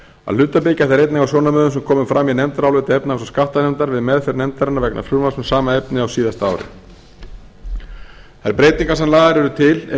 að hluta byggja þær einnig á sjónarmiðum sem komu fram í nefndaráliti efnahags og skattanefndar við meðferð nefndarinnar vegna frumvarps um sama efni á síðasta ári þær breytingar sem lagðar eru til eru